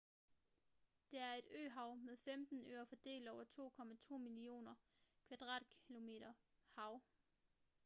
det er et øhav med 15 øer fordelt over 2,2 millioner km2 hav